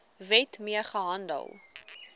wet mee gehandel